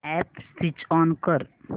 app switch on कर